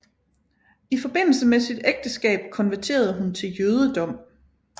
I forbindelse med sit ægteskab konverterede hun til jødedom